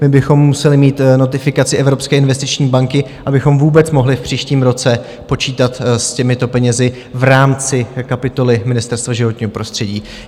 My bychom museli mít notifikaci Evropské investiční banky, abychom vůbec mohli v příštím roce počítat s těmito penězi v rámci kapitoly Ministerstva životního prostředí.